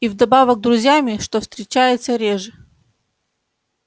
и вдобавок друзьями что встречается реже